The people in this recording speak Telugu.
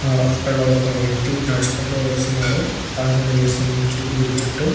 అక్క్కడ ఒక వ్యక్తి నడుచుకుంటే వస్తాదు ప్రదర్శనలు చేస్తున్నాడు గుడి చుట్టూ